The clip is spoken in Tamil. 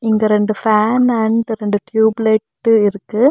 இந்த ரெண்டு ஃபேன் அண்ட் ரெண்டு டியூப் லைட் இருக்கு.